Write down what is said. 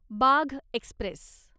Bagh Express